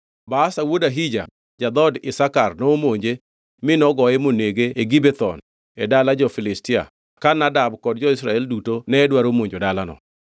Baasha wuod Ahija ja-dhood Isakar nomonje mi nogoye monege e Gibethon e dala jo-Filistia ka Nadab kod jo-Israel duto ne dwaro monjo dalano.